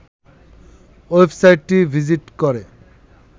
ওয়েবসাইটটি ভিজিট করে